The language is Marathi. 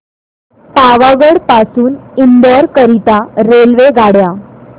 पावागढ पासून इंदोर करीता रेल्वेगाड्या